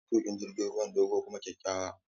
Matukin jirgin ruwan dogo kuma kyakkyawa.